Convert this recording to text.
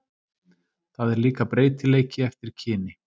Það er líka breytileiki eftir kyni.